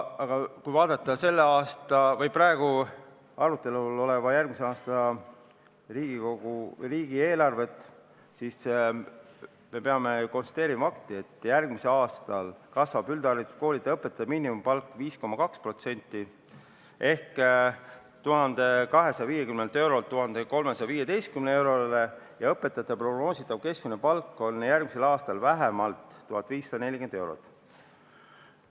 Kui vaadata praegu arutelul olevat järgmise aasta riigieelarvet, siis me peame konstateerima fakti, et järgmisel aastal kasvab üldhariduskooli õpetaja miinimumpalk 5,2% ehk 1250 eurolt 1315 eurole ja õpetaja prognoositav keskmine palk on järgmisel aastal vähemalt 1540 eurot.